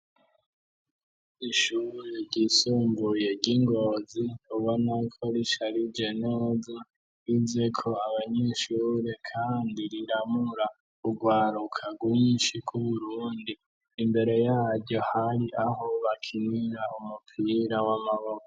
Ishure ryisumbuye ry'ingozi ubona ko risharije neza ryizeko abanyeshure kandi riramura urwaruka rwinshi rw'Uburundi , imbere yaryo hari aho bakinira umupira w'amabako.